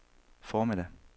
formiddag